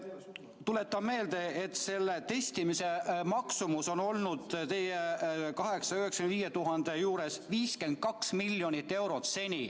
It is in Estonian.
Tuletan meelde, et testimise maksumus on nende 895 000 tehtud testi juures seni olnud 52 miljonit eurot.